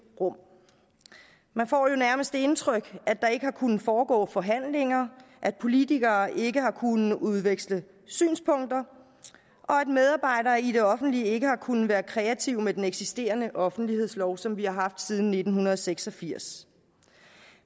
rum man får nærmest det indtryk at der ikke har kunnet foregå forhandlinger at politikere ikke har kunnet udveksle synspunkter og at medarbejdere i det offentlige ikke har kunnet være kreative med den eksisterende offentlighedslov som vi har haft siden nitten seks og firs